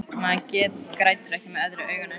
Maður grætur ekki með öðru auganu.